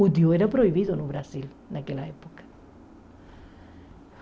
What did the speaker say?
O Diu era proibido no Brasil naquela época.